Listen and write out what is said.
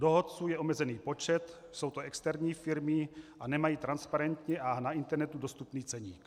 Dohodců je omezený počet, jsou to externí firmy a nemají transparentní a na internetu dostupný ceník.